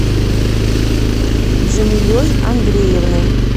джамилей андреевной